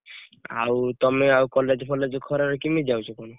ଆଉ ତମେ ଆଉ college ଫଲଏଗ ଖରା ରେ କେମିତି ଯାଉଛ କଣ ?